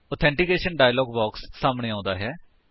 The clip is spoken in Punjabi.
ਆਥੈਂਟੀਕੇਸ਼ਨ ਡਾਇਲਾਗ ਬਾਕਸ ਸਾਹਮਣੇ ਆਉਂਦਾ ਹੈ